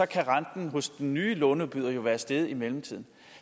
kan renten hos den nye låneudbyder være steget i mellemtiden